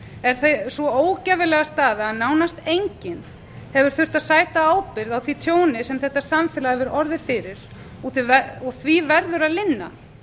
á er sú ógæfulega staða að nánast enginn hefur þurft að sæta ábyrgð á því tjóni sem þetta samfélag hefur orðið fyrir og því verður að linna